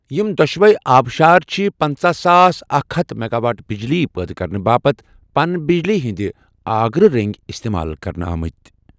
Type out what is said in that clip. یِم دوٚشوٕی آبشار چِھ پنٛژاہ ساس اکھ ہتھ میگاواٹ بِجلی پٲدٕ كرنہٕ باپتھ پن بجلی ہندِ آگرٕ رٔنٛگۍ استعمال كرنہٕ آمٕتۍ۔